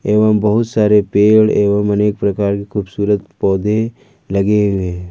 एवं बहुत सारे पेड़ एवं अनेक प्रकार की खूबसूरत पौधे लगे हुए।